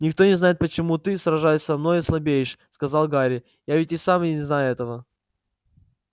никто не знает почему ты сражаясь со мной слабеешь сказал гарри я ведь и сам не знаю этого